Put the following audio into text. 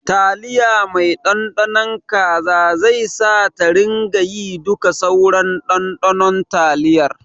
Taliya mai Ɗanɗano kaza sai ta ringayi duka sauran ɗanɗanon taliyar.